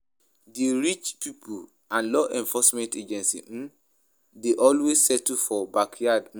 Di rich pipo and law enforcement agency um de always settle for backyard um